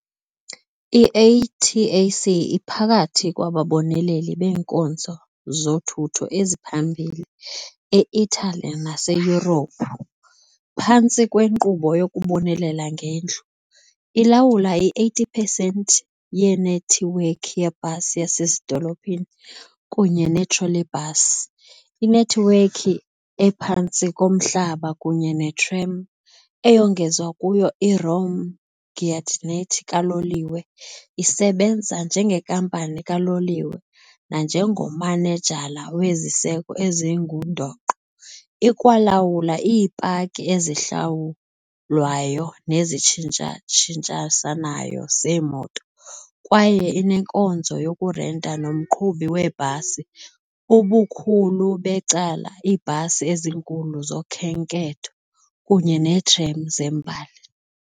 I-ATAC iphakathi kwababoneleli beenkonzo zothutho eziphambili e -Italy naseYurophu - phantsi kwenkqubo "yokubonelela ngendlu" ilawula i-80 percent yenethiwekhi yebhasi yasezidolophini kunye ne-trolleybus, inethiwekhi ephantsi komhlaba kunye ne-tram, eyongezwa kuyo i-Rome-Giardinetti kaloliwe, isebenza njengenkampani kaloliwe nanjengomanejala weziseko ezingundoqo, ikwalawula iipaki ezihlawulwayo nezitshintshisanayo zeemoto kwaye inenkonzo yokurenta nomqhubi weebhasi, ubukhulu becala iibhasi ezinkulu zokhenketho, kunye neetram zembali.